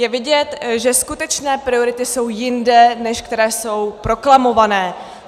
Je vidět, že skutečné priority jsou jinde, než které jsou proklamované.